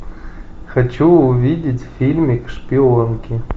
хочу увидеть фильмик шпионки